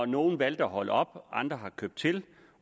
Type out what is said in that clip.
nogle valgte at holde op og andre købte til